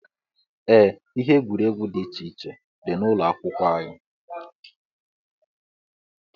Ee, ihe egwuregwu dị iche iche dị n'ụlọ akwụkwọ anyị.